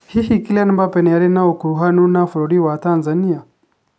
Hihi Kylian Mbappe nĩ aarĩ na ũkuruhanu na bũrũri wa Tanzania?